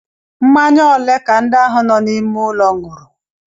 Mmanya ole ka ndị ahụ nọ n'ime ụlọ ṅụrụ?